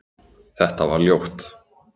Þetta var ljótt